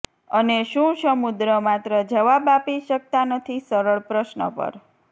અને શું સમુદ્ર માત્ર જવાબ આપી શકતા નથી સરળ પ્રશ્ન પર